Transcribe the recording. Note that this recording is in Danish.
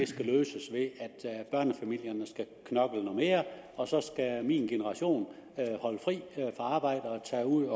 skal løses ved at børnefamilierne skal knokle noget mere og så skal min generation holde fri fra arbejde og tage ud